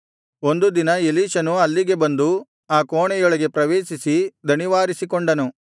ಒಂದು ದಿನ ಎಲೀಷನು ಅಲ್ಲಿಗೆ ಬಂದು ಆ ಕೋಣೆಯೊಳಗೆ ಪ್ರವೇಶಿಸಿ ದಣಿವಾರಿಸಿಕೊಂಡನು